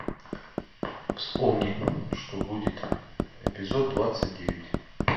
вспомни что будет эпизод двадцать девять